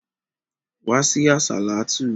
Wá sí àsàlátú!